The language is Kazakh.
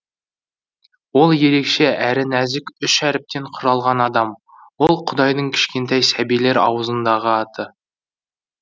ол ерекше әрі нәзік үш әріптен құралған адам ол құдайдың кішкентай сәбилер аузындағы аты